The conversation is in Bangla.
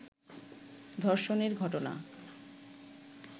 ধর্ষণের ঘটনা